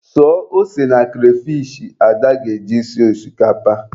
Suo ose na kreyfish Ada ga-eji sie osikapa.